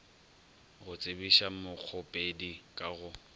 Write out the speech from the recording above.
go tsebiša mokgopedi ka go